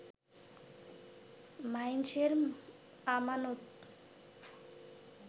মাইনষের আমানত